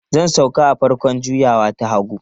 Zan sauka a farkon juyawa ta hagu.